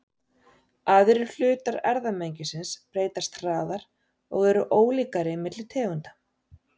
Aðrir hlutar erfðamengisins breytast hraðar og eru ólíkari milli tegunda.